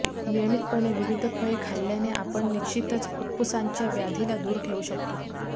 नियमितपणे विविध फळे खाल्ल्याने आपण निश्चितच फुफ्फुसांच्या व्याधीला दूर ठेवू शकतो